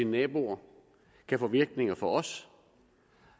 naboer kan få virkning for os